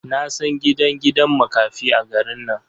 Na san gidan gidan makafi a garin nan.